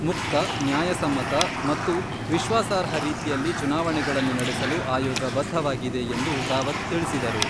ಮುಕ್ತ, ನ್ಯಾಯಸಮ್ಮತ ಮತ್ತು ವಿಶ್ವಾಸಾರ್ಹ ರೀತಿಯಲ್ಲಿ ಚುನಾವಣೆಗಳನ್ನು ನಡೆಸಲು ಆಯೋಗ ಬದ್ಧವಾಗಿದೆ ಎಂದು ರಾವತ್ ತಿಳಿಸಿದರು.